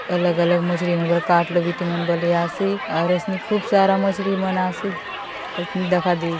अलग-अलग मछली मन बले काटलो बीती मन बले आसे और असनी खूब सारा मछली मन आसे दखा दे--